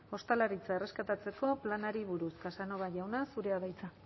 ostalaritza erreskatatzeko planari buruz casanova jauna zurea da hitza